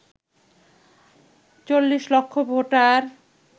৪০ লক্ষ ভোটার